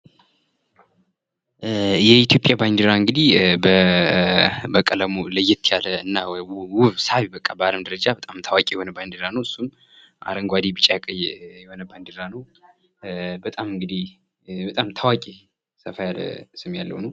የኢትዮጵያ ባንዲራ እንግዲህ በቀለሙ ለየት ያለ እና ውብ ሳቢ በአለም ደረጃ በጣም ታዋቂ የሆነ ባንዲራ ነው እሱም አረንጓዴ ቢጫ ቀይ የሆነ ባንዲራ ነው በጣም እንግዲህ በጣም ታዋቂ ሰፋ ያለ ስም ያለው ነው።